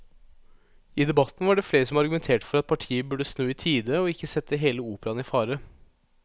I debatten var det flere som argumenterte for at partiet burde snu i tide og ikke sette hele operaen i fare.